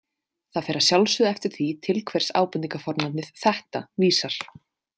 Það fer að sjálfsögðu eftir því, til hvers ábendingarfornafnið „þetta“ vísar.